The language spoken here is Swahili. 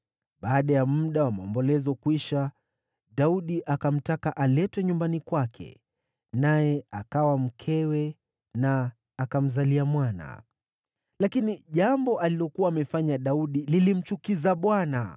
Baada ya muda wa maombolezo kwisha, Daudi akamtaka aletwe nyumbani kwake, naye akawa mkewe, na akamzalia mwana. Lakini jambo alilokuwa amefanya Daudi lilimchukiza Bwana .